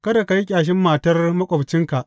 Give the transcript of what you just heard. Kada ka yi ƙyashin matar maƙwabcinka.